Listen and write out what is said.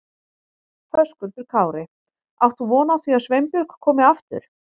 Höskuldur Kári: Átt þú von á því að Sveinbjörg komi aftur?